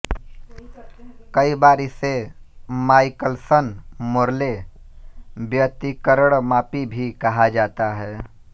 कई बार इसे माइकलसन मोर्ले व्यतिकरणमापी भी कहा जाता है